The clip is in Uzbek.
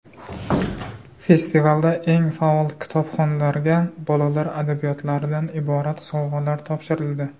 Festivalda eng faol kitobxonlarga bolalar adabiyotlaridan iborat sovg‘alar topshirildi.